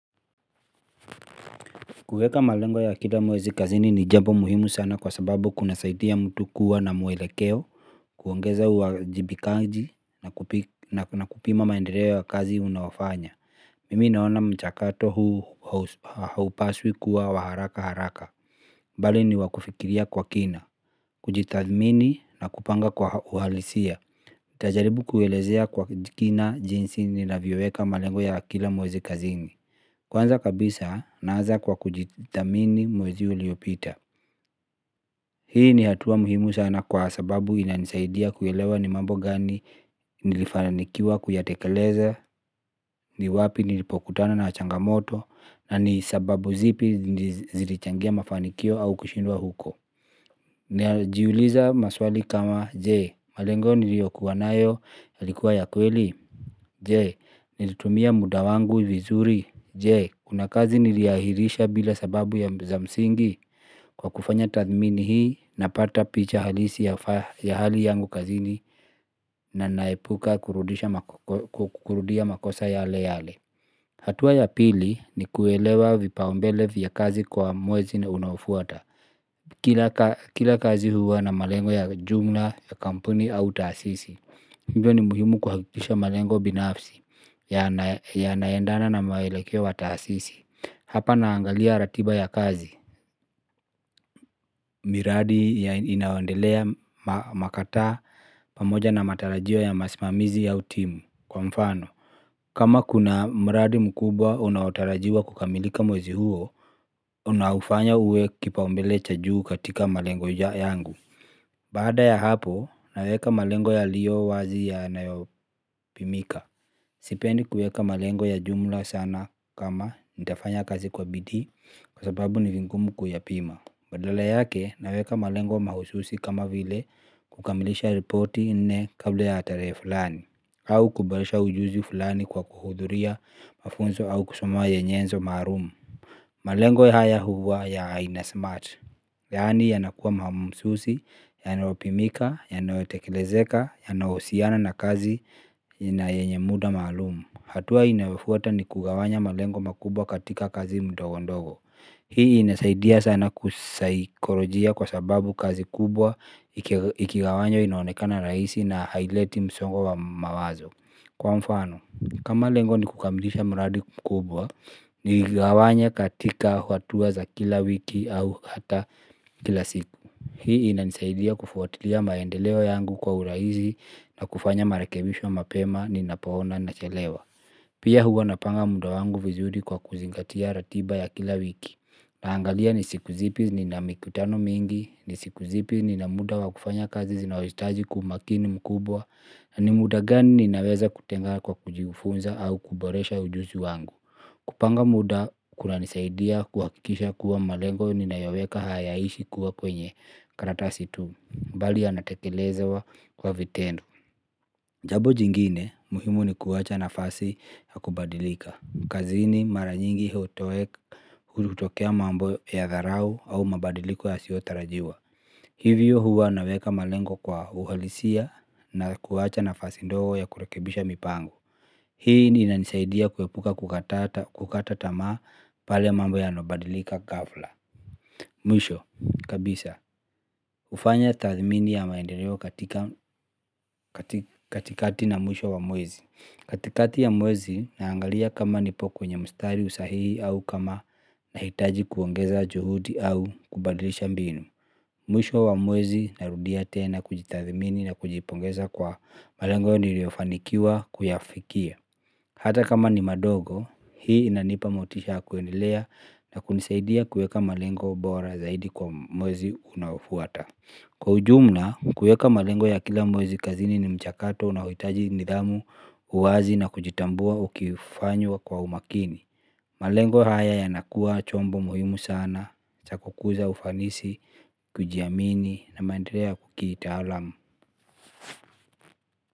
Kuweka malengo ya kila mwezi kazini ni jambo muhimu sana kwa sababu kuna saidia mtu kuwa na mwelekeo, kuongeza uwajibikaji na kupima maendeleo ya kazi unaofanya. Mimi naona mchakato huu haupaswi kuwa wa haraka haraka. Bali ni wa kufikiria kwa kina, kujitathmini na kupanga kwa uhalisia. Nitajaribu kuelezea kwa kina jinsi ni navyoweka malengo ya kila mwezi kazini. Kwanza kabisa, naanza kwa kujithamini mwezi uliopita. Hii ni hatua muhimu sana kwa sababu inanisaidia kuelewa ni mambo gani nilifanikiwa kuyatekeleza, ni wapi nilipokutana na changamoto, na ni sababu zipi zilichangia mafanikio au kushindwa huko. Najiuliza maswali kama, je, malengo niliokuwa nayo yalikuwa ya kweli, je, nilitumia muda wangu vizuri, je. Kuna kazi nilihairisha bila sababu ya za msingi kwa kufanya tathmini hii napata picha halisi ya hali yangu kazini na naepuka kurudia makosa yale yale. Hatua ya pili ni kuelewa vipaumbele vya kazi kwa mwezi na unaofuata. Kila kazi huwa na malengo ya jumla ya kampuni au taasisi hivyo ni muhimu kuhakikisha malengo binafsi yanaendana na maelekeo wa taasisi. Hapa naangalia ratiba ya kazi. Miradi ya inayoendelea makataa pamoja na matarajio ya masimamizi au timu kwa mfano kama kuna mradi mkubwa unaotarajiwa kukamilika mwezi huo unaufanya uwe kipaumbele cha juu katika malengo yangu. Baada ya hapo naweka malengo yalio wazi yanayopimika. Sipendi kueka malengo ya jumla sana kama nitafanya kazi kwa bidii kwa sababu ni vingumu kuyapima. Badala yake naweka malengo mahususi kama vile kukamilisha ripoti nne kabla ya tarehe fulani au kubadilisha ujuzi fulani kwa kuhudhuria mafunzo au kusomwa ya nyenzo maalum. Malengo haya huwa ya haina smart. Yaani yanakuwa mahususi, yanayopimika, yanayotekelezeka, yanaohusiana na kazi ina yenye muda maalum. Hatua inayofuata ni kugawanya malengo makubwa katika kazi ndogo ndogo. Hii inasaidia sana kisaikolojia kwa sababu kazi kubwa ikigawanywa inaonekana rahisi na haileti msongo wa mawazo. Kwa mfano, kama lengo ni kukamilisha mradi kubwa, niigawanye katika hatua za kila wiki au hata kila siku. Hii inanisaidia kufuatilia maendeleo yangu kwa uraihisi na kufanya marakebisho mapema ninapoona ninachelewa. Pia huwa napanga muda wangu vizuri kwa kuzingatia ratiba ya kila wiki. Naangalia ni siku zipi nina mikutano mingi, ni siku zipi nina muda wa kufanya kazi zinazohijitaji kwa umakini mkubwa, na ni muda gani ninaweza kutenga kwa kujifunza au kuboresha ujuzi wangu. Kupanga muda kunanisaidia kuhakisha kuwa malengo ninayoweka hayaishi kuwa kwenye karatasi tu, bali yanatekelezwa kwa vitendo. Jambo jingine muhimu ni kuwacha nafasi ya kubadilika. Kazini mara nyingi hutokea mambo ya dharau au mabadiliko yasiotarajiwa. Hivyo huwa naweka malengo kwa uhalisia na kuwacha nafasi ndogo ya kurekebisha mipango. Hii ni inanisaidia kuepuka kukata tamaa pale mambo yanabadilika ghafla. Mwisho, kabisa hufanya tathmini ya maendeleo katika katikati na mwisho wa mwezi katikati ya mwezi naangalia kama nipo kwenye mstari sahihi au kama nahitaji kuongeza juhudi au kubadilisha mbinu. Mwisho wa mwezi narudia tena kujitathimini na kujipongeza kwa malengo niliofanikiwa kuyafikia. Hata kama ni madogo hii inanipa motisha ya kuendelea na kunisaidia kuweka malengo bora zaidi kwa mwezi unaofuata. Kwa ujumla, kuweka malengo ya kila mwezi kazini ni mchakato unaohitaji nidhamu, uwazi na kujitambua ukifanywa kwa umakini. Malengo haya yanakuwa chombo muhimu sana, cha kukuza ufanisi, kujiamini na maendeleo ya kitaalam.